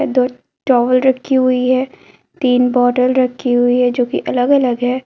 दो टॉवल रखी हुई है तीन बोतल रखी हुई है जो कि अलग अलग है।